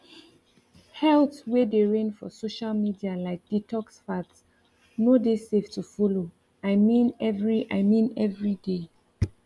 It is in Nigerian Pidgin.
health way dey reign for social media like detox fads no dey safe to follow i mean every i mean every day